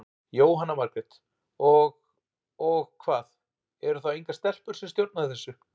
Jóhanna Margrét: Og, og hvað, eru þá engar stelpur sem stjórna þessu?